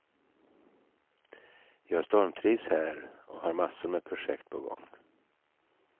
Jag stormtrivs här, och har massor med projekt på gång.